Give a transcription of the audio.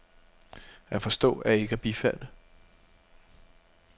At forstå er ikke at bifalde.